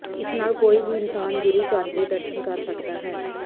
ਇਸ ਨਾਲ ਕੋਈ ਵੀ ਇਨਸਾਨ ਗੁਰੂ ਘਰ ਦੇ ਦਰਸ਼ਨ ਕਰ ਸਕਦਾ ਹੈ